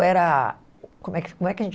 era... Como é que, como é que a gente